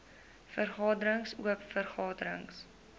vergaderings oop vergaderings